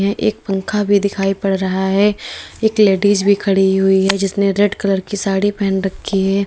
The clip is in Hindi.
एक पंखा भी दिखाई पड़ रहा है एक लेडिस भी खड़ी हुई है जिसने रेड कलर की साड़ी पहन रखी है।